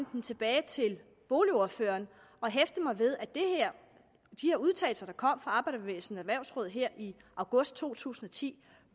den tilbage til boligordføreren og hæfte mig ved at de her udtalelser der kom fra arbejderbevægelsens erhvervsråd her i august to tusind og ti